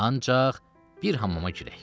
Ancaq bir hamama girək.